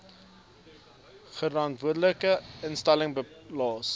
grondwetlike instelling belas